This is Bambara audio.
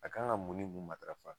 A kan ga mun ni mun matarafa